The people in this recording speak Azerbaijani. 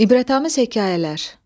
İbrətamiz hekayələr.